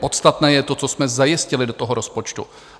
Podstatné je to, co jsme zajistili do toho rozpočtu.